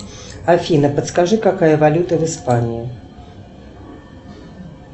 афина подскажи какая валюта в испании